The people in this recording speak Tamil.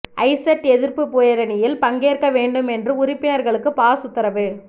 ஐசெர்ட் எதிர்ப்பு பேரணியில் பங்கேற்க வேண்டும் என்று உறுப்பினர்களுக்கு பாஸ் உத்தரவு